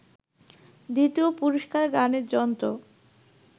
দ্বিতীয় পুরস্কার গানের যন্ত্র